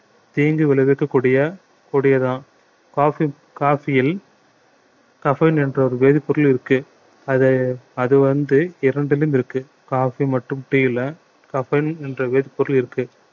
தீங்கு விளைவிக்கக் கூடிய கொடியதான் coffee coffee யில் caffeine என்ற ஒரு வேதிப்பொருள் இருக்கு அதை அது வந்து இரண்டிலும் இருக்கு coffee மற்றும் tea ல caffeine என்ற வேதிப்பொருள் இருக்கு